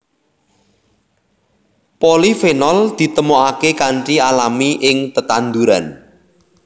Polifenol ditemokaké kanthi alami ing tetanduran